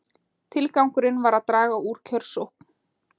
Tilgangurinn var að draga úr kjörsókn